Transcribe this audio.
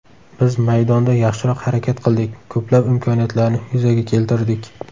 Biz maydonda yaxshiroq harakat qildik, ko‘plab imkoniyatlarni yuzaga keltirdik.